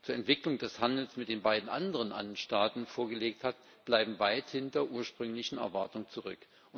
zur Entwicklung des Handels mit den beiden anderen Andenstaaten vorgelegt hat, bleiben weit hinter ursprünglichen Erwartungen zurück.